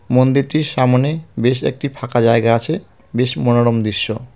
মন্দিরটির সামোনে বেশ একটি ফাঁকা জায়গা আছে বেশ মনোরম দৃশ্য.